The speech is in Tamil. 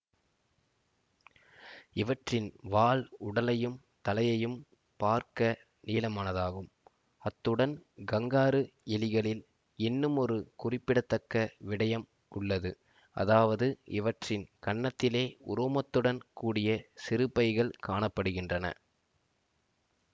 இவற்றின் வால் உடலையும் தலையையும் பார்க்க நீளமானதாகும் அத்துடன் கங்காரு எலிகளில் என்னுமொரு குறிப்பிடத்தக்க விடயம் உள்ளது அதாவது இவற்றின் கன்னத்திலே உரோமத்துடன் கூடிய சிறுபைகள் காண படுகின்றன